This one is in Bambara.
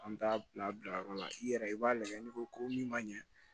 An t'a bila yɔrɔ la i yɛrɛ i b'a lajɛ n'i ko ko min ma ɲɛ